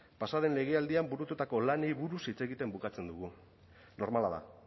pasa den legealdian burututako lanei buruz hitz egiten bukatzen dugu normala da